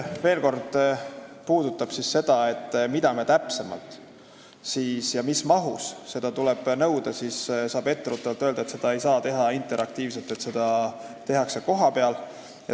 Rääkides sellest, mida me täpsemalt nõuame ja mis mahus tuleks nõuda, siis tuleb etteruttavalt öelda, et seda koolitust ei saa teha interaktiivselt, seda tehakse kohapeal.